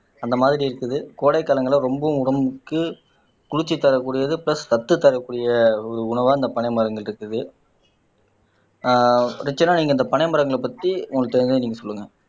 அந்த மாதிரி இருக்குது கோடை காலங்கள்ல ரொம்பவும் உடம்புக்கு குளிர்ச்சி தரக்கூடியது பிளஸ் சத்து தரக்கூடிய ஒரு உணவா இந்த பனை மரங்கள் இருக்குது ஆஹ் ரட்சனா நீங்க இந்த பனை மரங்களை பத்தி உங்களுக்கு தெரிஞ்சதை நீங்க சொல்லுங்க